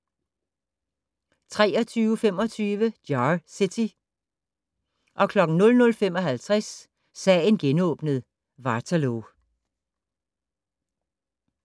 23:25: Jar City 00:55: Sagen genåbnet: Waterloo